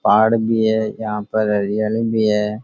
पहाड़ भी है यहाँ पे हरयाली भी है।